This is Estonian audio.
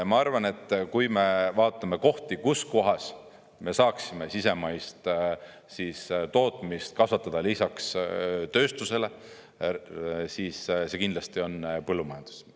Ma arvan, et kui me vaatame kohti, kus me saaksime sisemaist tootmist kasvatada lisaks tööstusele, siis see kindlasti on põllumajandus.